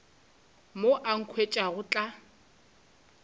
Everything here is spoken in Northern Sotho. mo a nkhwetša go tla